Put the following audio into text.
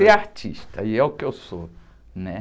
Ser artista, e é o que eu sou, né?